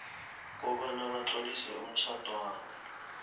kobana batlolise umtjhadwabo